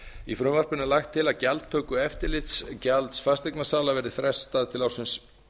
í frumvarpinu er lagt til að gjaldtökueftirlitsgjald fasteignasala verði frestað til ársins